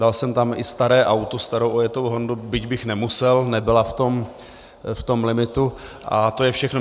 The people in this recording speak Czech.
Dal jsem tam i staré auto, starou ojetou hondu, byť bych nemusel, nebyla v tom limitu, a to je všechno.